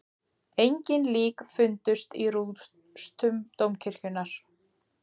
Engin lík fundust í rústum dómkirkjunnar